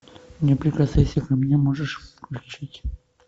не прикасайся ко мне можешь включить